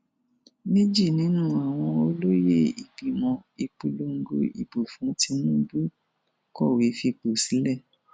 méjì nínú àwọn olóye ìgbìmọ ìpolongo ìbò fún tìǹbù kọwé fipò sílẹ